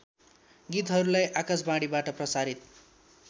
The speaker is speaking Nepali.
गीतहरूलाई आकाशवाणीबाट प्रसारित